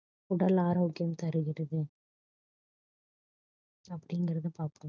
உடல் ஆரோக்கியம் தருகிறது அப்படிங்கறத பார்ப்போம்